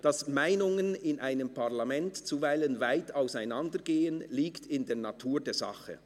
«Dass die Meinungen in einem Parlament zuweilen weit auseinandergehen, liegt in der Natur der Sache.